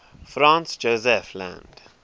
franz josef land